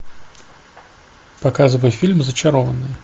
показывай фильм зачарованные